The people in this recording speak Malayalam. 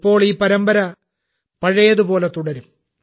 ഇപ്പോൾ ഈ പരമ്പര പഴയതുപോലെ തുടരും